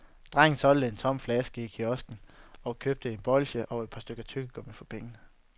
Drengen solgte en tom flaske i en kiosk og købte et bolche og et par stykker tyggegummi for pengene.